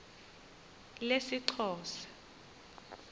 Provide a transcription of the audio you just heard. lesixhosa